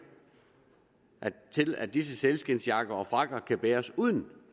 til at disse sælskindsjakker og frakker kan bæres uden